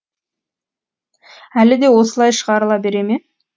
әлі де осылай шығарыла бере ме